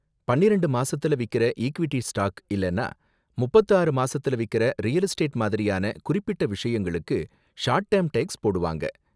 பன்னிரெண்டு மாசத்துல விக்கிற ஈக்விட்டி ஸ்டாக் இல்லனா முப்பத்து ஆறு மாசத்துல விக்கிற ரியல் எஸ்டேட் மாதிரியான குறிப்பிட்ட விஷயங்களுக்கு ஷார்ட் டேர்ம் டேக்ஸ் போடுவாங்க.